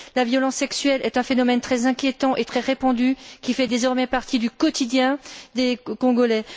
La violence sexuelle est un phénomène très inquiétant et très répandu, qui fait désormais partie du quotidien des Congolais.